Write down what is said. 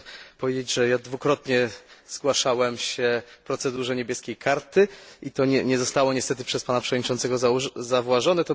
Chciałbym powiedzieć, że dwukrotnie zgłaszałem się procedurze niebieskiej kartki i to nie zostało niestety przez Pana Przewodniczącego zauważone.